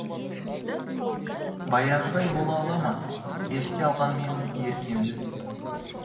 баяғыдай бола ала ма еске алғанмен еркемді